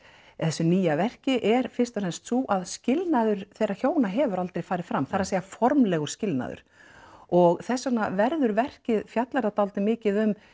í þessu nýja verki er fyrst og fremst sú að skilnaður þeirra hjóna hefur aldrei farið fram það er að formlegur skilnaður og þess vegna verður verkið fjallar það dálítið mikið um